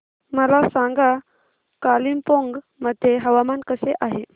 मला सांगा कालिंपोंग मध्ये हवामान कसे आहे